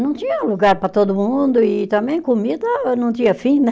Não tinha lugar para todo mundo e também comida não tinha fim, né?